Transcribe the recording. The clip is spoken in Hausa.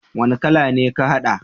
Wani kala ne ka hada?